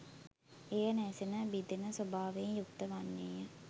එය නැසෙන බිඳෙන ස්වභාවයෙන් යුක්ත වන්නේය.